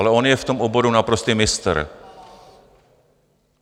Ale on je v tom oboru naprostý mistr.